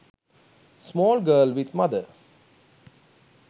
small girl with mother